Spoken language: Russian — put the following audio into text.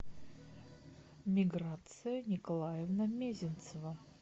миграция николаевна мезенцева